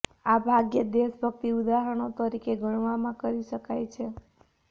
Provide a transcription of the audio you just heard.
આ ભાગ્યે જ દેશભક્તિ ઉદાહરણો તરીકે ગણવામાં કરી શકાય છે